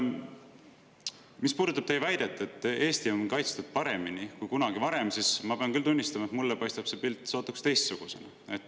Mis puudutab teie väidet, et Eesti on paremini kaitstud kui kunagi varem, siis ma pean küll tunnistama, et mulle paistab see pilt sootuks teistsugusena.